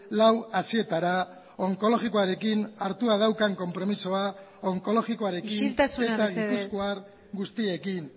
lau haizeetara onkologikoarekin hartua daukan konpromisoa isiltasuna mesedez onkologikoarekin eta gipuzkoar guztiekin